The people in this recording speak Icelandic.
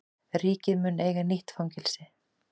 Ríkið mun eiga nýtt fangelsi